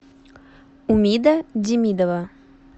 умида демидова